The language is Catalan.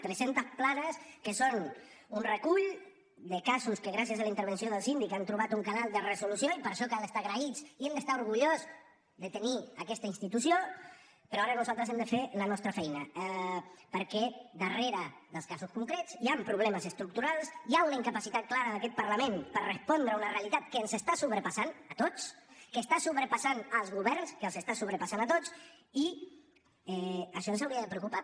tres centes planes que són un recull de casos que gràcies a la intervenció del síndic han trobat un canal de resolució i per això cal estar agraïts i hem d’estar orgullosos de tenir aquesta institució però ara nosaltres hem de fer la nostra feina perquè darrere dels casos concrets hi han problemes estructurals hi ha una incapacitat clara d’aquest parlament per respondre a una realitat que ens està sobrepassant a tots que està sobrepassant els governs que els està sobrepassant a tots i això ens hauria de preocupar